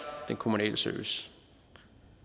den kommunale service